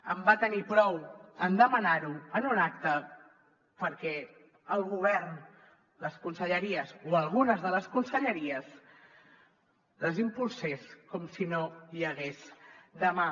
en va tenir prou en demanar ho en un acte perquè el govern les conselleries o algunes de les conselleries les impulsés com si no hi hagués demà